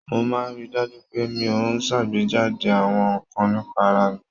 Mo máa ń ri dájú pé mi ò ṣàgbéjáde àwọn nǹkan nípa ara mi.